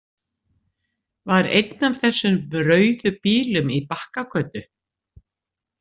Var einn af þessum rauðu bílum í Bakkagötu?